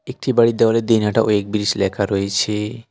একটি বাড়ির দেওয়ালে দিনহাটা ওয়েক ব্রিজ লেখা রয়েছে।